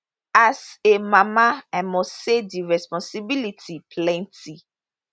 as a mama i must say di responsibility plenty